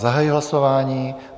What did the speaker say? Zahajuji hlasování.